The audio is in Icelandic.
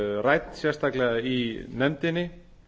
rædd sérstaklega í nefndinni